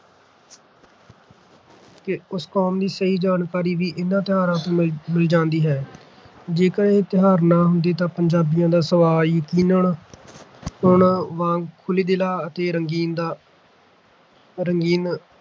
ਉਸ ਕੌਮ ਦੀ ਸਹੀ ਜਾਣਕਾਰੀ ਵੀ ਇਨ੍ਹਾਂ ਤਿਉਹਾਰਾਂ ਤੋਂ ਮਿਲ ਮਿਲ ਜਾਂਦੀ ਹੈ। ਜੇਕਰ ਇਹ ਤਿਉਹਾਰ ਨਾ ਹੁੰਦੇ ਤਾਂ ਪੰਜਾਬੀਆਂ ਦਾ ਸੁਭਾਅ ਯਕੀਨਣ ਹੁਣ ਵਾਂਗ ਖੁੱਲ੍ਹਦਿਲਾ ਅਤੇ ਰੰਗੀਨ ਦਾ ਰੰਗੀਨ